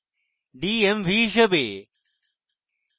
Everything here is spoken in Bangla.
d m v হিসাবে